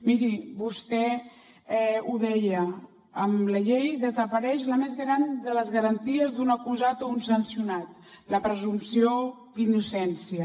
miri vostè ho deia amb la llei desapareix la més gran de les garanties d’un acusat o un sancionat la presumpció d’innocència